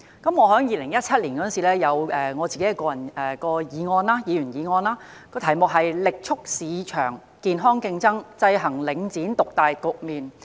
我在2017年曾提出一項議員議案，題為"力促市場健康競爭，制衡領展獨大局面"。